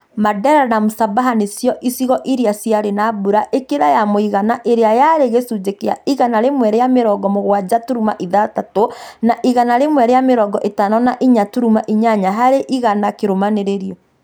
Mandera na Msabaha nocio icigo iria ciarĩ na mbũra ĩkĩre ya mũigana ĩria yarĩ gicunjĩ kĩa igana rĩmwe rĩa mĩrongo mũgwanja turuma ithathatũ na igana rĩmwe rĩa mĩrongo ĩtano na inya turuma inyanya harĩ igana kĩrumanĩrĩrio